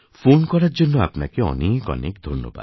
phone করার জন্য আপনাকে অনেক অনেক ধন্যবাদ